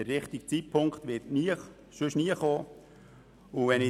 Der richtige Zeitpunkt wird sonst nie kommen.